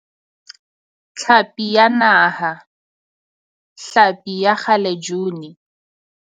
Tlhapi ya Naha, hlapi ya kgalejuni